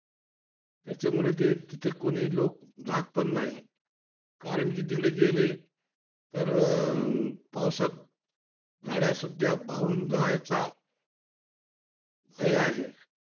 त्याच्यामुळे ते तिथं कोणी लोक जात पण नाही. कारण कि तिकडे गेले तर, पावसात गाड्यासुद्धा जायचा भय आहे.